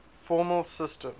formal systems